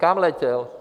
Kam letěl?